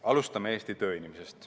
Alustame Eesti tööinimesest.